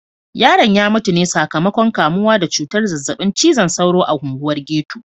Yaron ya mutu ne sakamakon kamuwa da cutar zazzabin cizon sauro a unguwar ghetto.